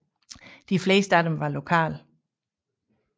De fleste af dem var lokale